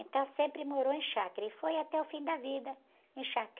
Então sempre morou em chácara e foi até o fim da vida em chácara.